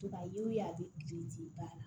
a bɛ kile baara la